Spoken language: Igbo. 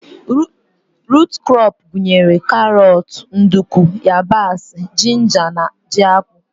Rut krọp gụnyere karọt, nduku, yabasị, jinja na ji akpụ.